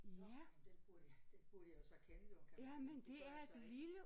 Nåh jamen den burde jeg den burde jeg jo så kende jo kan man sige det gør jeg så ikke